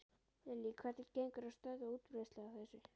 Lillý: Hvernig gengur að stöðva útbreiðslu á þessu?